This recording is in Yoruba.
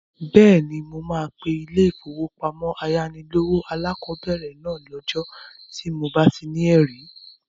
Bẹ́ẹ̀ni, mo máa pe ilé-ìfowópamọ́sí ayánilówó alákọ̀bẹ̀rẹ̀ náà lẹ́jọ́ tí mo bá ti ní ẹ̀rí